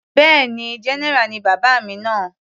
Bẹ́ẹ̀ni, general ni bàbá mi náà.